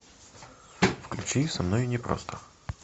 включи со мной непросто